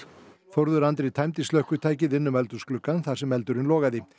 Þórður Andri tæmdi slökkvitækið inn um eldhúsgluggann þar sem eldurinn logaði